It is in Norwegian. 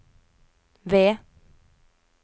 V